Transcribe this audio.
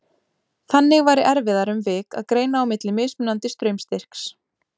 Þannig væri erfiðara um vik að greina á milli mismunandi straumstyrks.